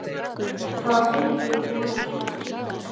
Það var hlaupin í hana kergja.